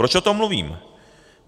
Proč o tom mluvím?